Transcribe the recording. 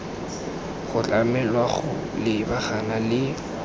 go tlamelwa go lebagana le